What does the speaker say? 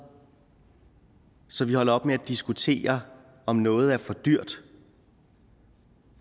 så vi holder op med at diskutere om noget er for dyrt